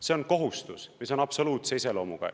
See on kohustus, mis on absoluutse iseloomuga.